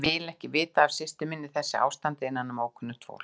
Ég vil ekki vita af systur minni í þessu ástandi innanum ókunnugt fólk.